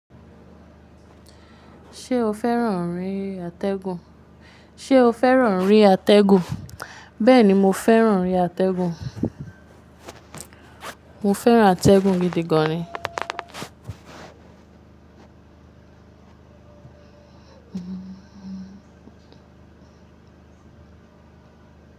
Ṣé o fẹ́ràn ori àtẹ́gùn? Bẹ́ẹ̀ni, mo fẹ́ràn ori àtẹ́gùn. Mo fẹ́ràn àtẹ́gùn gidi gan ni.